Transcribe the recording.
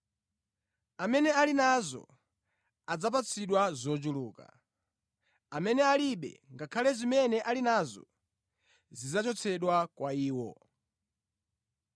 Amene ali nazo adzapatsidwa zochuluka; amene alibe, ngakhale zimene ali nazo zidzachotsedwa kwa iwo.”